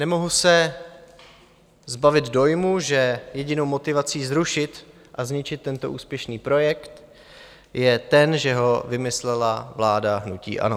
Nemohu se zbavit dojmu, že jedinou motivací zrušit a zničit tento úspěšný projekt je ten, že ho vymyslela vláda hnutí ANO.